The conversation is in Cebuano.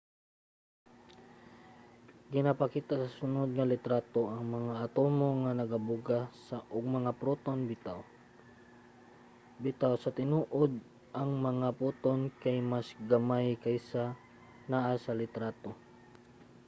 ginapakita sa sunod nga litrato ang mga atomo nga nagabuga og mga photon. bitaw sa tinuod ang mga photon kay mas gamay kaysa sa naa sa litrato